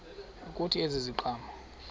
kuthi ezi ziqhamo